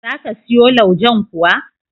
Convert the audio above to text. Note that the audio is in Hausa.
Za ka siyo laujen kuwa?